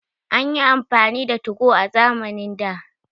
An yi amfani da 2go a zamanin da